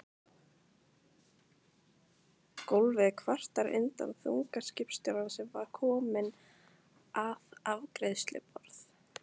Gólfið kvartar undan þunga skipstjórans sem er kominn að afgreiðsluborð